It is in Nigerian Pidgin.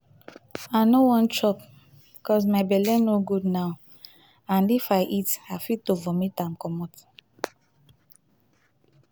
i no wan chop cos my belle no good now and if i eat i fit to vomit am commot